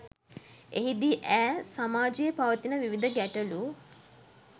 එහිදී ඈ සමාජයේ පවතින විවිධ ගැටළු